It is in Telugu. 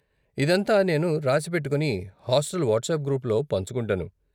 ఇదంతా నేను రాసి పెట్టుకొని, హాస్టల్ వాట్సాప్ గ్రూప్లో పంచుకుంటాను.